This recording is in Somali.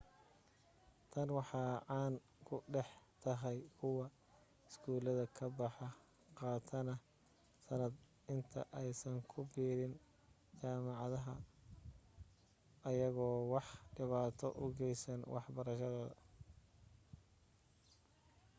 tan waxee caaan ku dhex tahay kuwa iskuulka ka baxa qaatana sanad inta aysan ku biirin jaamacada ayagoo wax dhibaata u geysan wax barashadooda